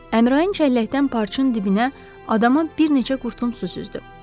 Əmraən cəlləkdən parçın dibinə adama bir neçə qurtum su süzdü.